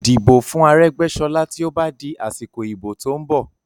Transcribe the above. Dìbò fún Aregbesola tí ó bá di asiko ibo tó ń bọ̀!